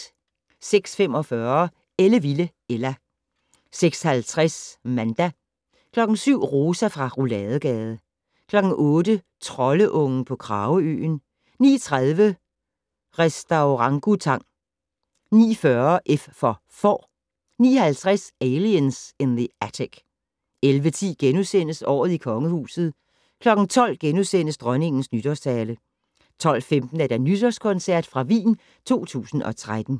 06:45: Ellevilde Ella 06:50: Manda 07:00: Rosa fra Rouladegade 08:00: Troldeungen på Krageøen 09:30: Restaurangutang 09:40: F for Får 09:50: Aliens in the Attic 11:10: Året i Kongehuset * 12:00: Dronningens Nytårstale * 12:15: Nytårskoncert fra Wien 2013